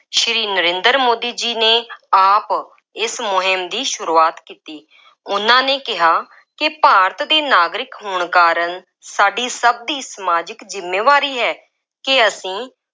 ਸ੍ਰੀ ਨਰਿੰਦਰ ਮੋਦੀ ਜੀ ਨੇ ਆਪ ਇਸ ਮੁੰਹਿਮ ਦੀ ਸੁਰੂਆਤ ਕੀਤੀ। ਉਹਨਾ ਨੇ ਕਿਹਾ ਕਿ ਭਾਰਤ ਦੇ ਨਾਗਰਿਕ ਹੋਣ ਕਾਰਨ ਸਾਡੀ ਸਭ ਦੀ ਸਮਾਜਿਕ ਜ਼ਿੰਮੇਵਾਰੀ ਹੈ ਕਿ ਅਸੀਂ